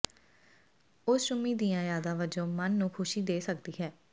ਉਸ ਚੁੰਮੀ ਦੀਆਂ ਯਾਦਾਂ ਵਜੋਂ ਮਨ ਨੂੰ ਖੁਸ਼ੀ ਦੇ ਸਕਦੀ ਹੈ